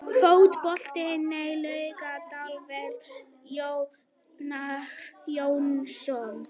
Fótbolti.net, Laugardalsvelli- Jón Einar Jónsson.